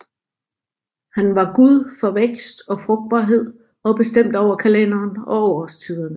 Han var gud for vækst og frugtbarhed og bestemte over kalenderen og årstiderne